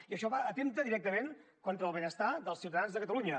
i això atempta directament contra el benestar dels ciutadans de catalunya